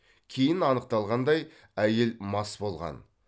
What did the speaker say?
кейін анықталғандай әйел мас болған